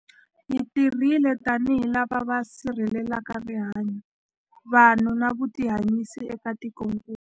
Hi tirhile tanihi lava va sirhelelaka rihanyu, vanhu na vutihanyisi eka tikokulu.